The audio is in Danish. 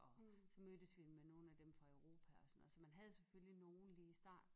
Og så mødtes vi med nogen af dem fra Europa